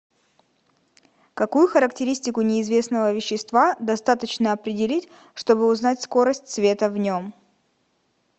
какую характеристику неизвестного вещества достаточно определить чтобы узнать скорость света в нем